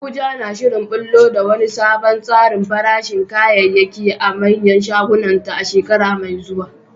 Abuja na shirin ɓullo da wani sabon tsarin farashin kayayyaki a manyan shagunanta a shekara mai zuwa.